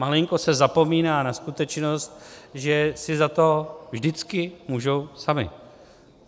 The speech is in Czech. Malinko se zapomíná na skutečnost, že si za to vždycky můžou sami.